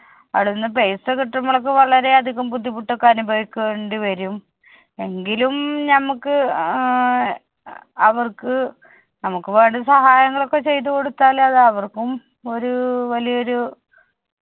അവിടെനിന്ന് paisa കിട്ടുമ്പളൊക്കെ വളരെയധികം ബുദ്ധിമുട്ടൊക്കെ അനുഭവിക്കേണ്ടി വരും. എങ്കിലും ഞമ്മക്ക് ആഹ് അവർക്ക് നമ്മുക്ക് വേണ്ട സഹായങ്ങളൊക്കെ ചെയ്തു കൊടുത്താല് അത് അവർക്കും ഒരു വലിയൊരു